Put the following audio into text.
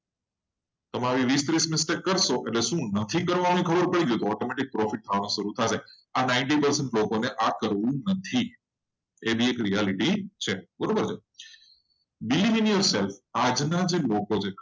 mistake કરશો. તો repeat નહી કરશો પછી profit મળશે. અને પછી આ કરવું નથી એવી એક reality છે રીલીવ